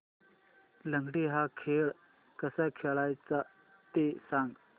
लंगडी हा खेळ कसा खेळाचा ते सांग